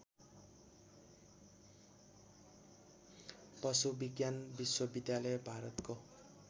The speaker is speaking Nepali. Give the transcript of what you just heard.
पशुविज्ञान विश्वविद्यालय भारतको